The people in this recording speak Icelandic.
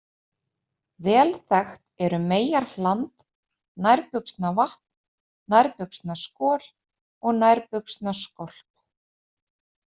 Vel þekkt eru meyjarhland, nærbuxnavatn, nærbuxnaskol og nærbuxnaskolp.